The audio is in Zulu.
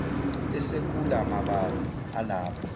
esekula mabala alapha